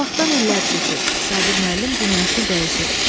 O vaxtdan illər keçib, Sabir müəllim dünyasını dəyişib.